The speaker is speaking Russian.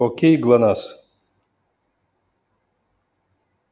окей глонассс